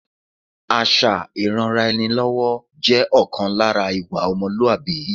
Àṣà ìranra-ẹni-lọ́wọ́ jẹ́ ọ̀kan lára ìwà ọmọlúwàbí